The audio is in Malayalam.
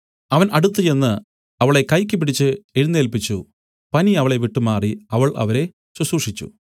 അവൻ അടുത്തുചെന്ന് അവളെ കൈക്കു പിടിച്ച് എഴുന്നേല്പിച്ചു പനി അവളെ വിട്ടുമാറി അവൾ അവരെ ശുശ്രൂഷിച്ചു